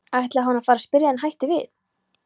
ætlaði hann að fara að spyrja en hætti við.